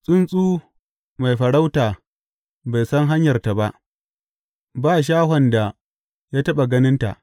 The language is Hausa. Tsuntsu mai farauta bai san hanyarta ba, ba shahon da ya taɓa ganin ta.